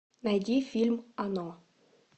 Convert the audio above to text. найди фильм оно